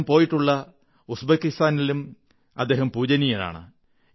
അദ്ദേഹം പോയിട്ടുള്ള ഉസ്ബെകിസ്ഥാനിലും അദ്ദേഹം പൂജനീയനാണ്